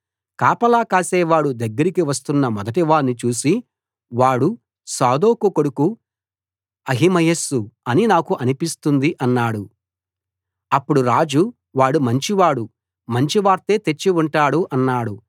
కాపలా కాసేవాడు దగ్గరికి వస్తున్న మొదటివాణ్ణి చూసి వాడు సాదోకు కొడుకు అహిమయస్సు అని నాకు అనిపిస్తుంది అన్నాడు అప్పుడు రాజు వాడు మంచివాడు మంచివార్తే తెచ్చి ఉంటాడు అన్నాడు